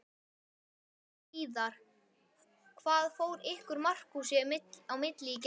Jóhann Hlíðar: Hvað fór ykkur Markúsi á milli í gær?